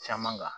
Caman kan